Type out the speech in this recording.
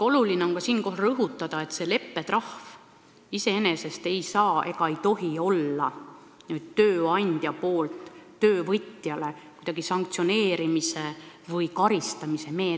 Oluline on siinkohal rõhutada, et see leppetrahv iseenesest ei saa ega tohi olla kuidagi töövõtja sanktsioneerimise või karistamise meede.